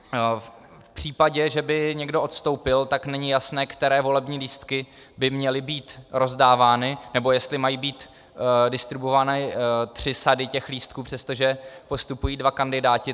V případě, že by někdo odstoupil, tak není jasné, které volební lístky by měly být rozdávány nebo jestli mají být distribuované tři sady těch lístků, přestože postupují dva kandidáti.